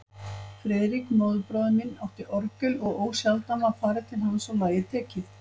Friðrik, móðurbróðir minn, átti orgel og ósjaldan var farið til hans og lagið tekið.